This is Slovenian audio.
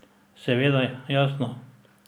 Seveda, jasno.